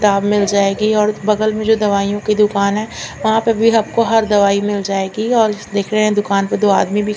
किताब मिल जाएगी और बगल में जो दवाइयों की दूकान है वहा पर भी आप को हर दवाई मिल जाएगी और दिखने में दूकान पर दो आदमी भी--